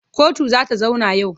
Kotu za ta zauna yau.